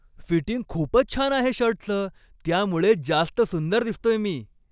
Fitting खूपच छान आहे शर्टचं. त्यामुळे जास्त सुंदर दिसतोय मी.